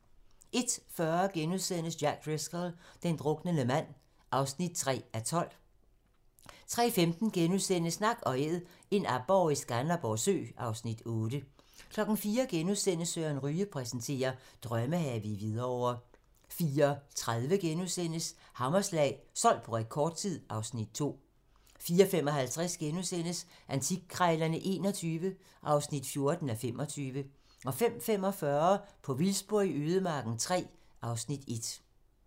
01:40: Jack Driscoll - den druknende mand (3:12)* 03:15: Nak & æd - en aborre i Skanderborg Sø (Afs. 8)* 04:00: Søren Ryge præsenterer: Drømmehave i Hvidovre * 04:30: Hammerslag - solgt på rekordtid (Afs. 2)* 04:55: Antikkrejlerne XXI (14:25)* 05:45: På vildspor i ødemarken III (Afs. 1)